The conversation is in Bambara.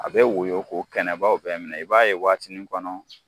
A bɛ woyo k'o kɛnɛbaw bɛ minɛ, i b'a y'o waati kɔnɔ